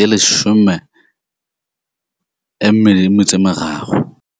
2023.